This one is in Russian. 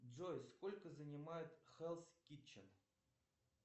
джой сколько занимает хелф китчен